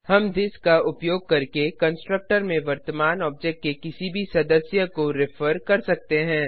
हम थिस का उपयोग करके कंस्ट्रक्टर में वर्तमान ऑब्जेक्ट के किसी भी सदस्यमेम्बर को रिफर कर सकते हैं